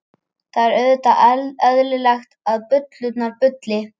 Það er auðvitað eðlilegt að bullurnar bulli.